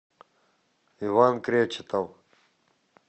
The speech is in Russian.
иван кречетов